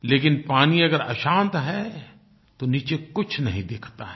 लेकिन पानी अगर अशांत है तो नीचे कुछ नहीं दिखता है